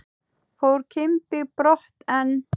Fór Kimbi brott en